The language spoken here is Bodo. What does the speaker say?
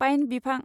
पाइन बिफां